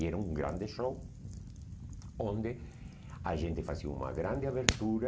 E era um grande show, onde a gente fazia uma grande abertura.